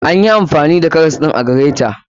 Anyi amfani karas ɗin a gireta